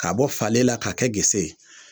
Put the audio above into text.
K'a bɔ faalen la k'a kɛ gese ye